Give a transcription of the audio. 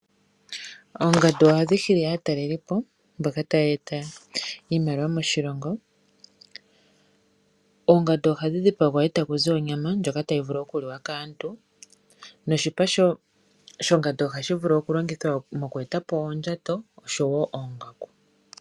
Oongandu ohadhi hili aatalelipo mboka haya eta iimaliwa moshilongo. Oongandu ohadhi dhipangwa eta kuzi onyama ndjoka hayi vulu okuliwa kaantu noshipa shongandu ohashi vulu okulongithwa mokweetapo oondjato noshowo oongaku.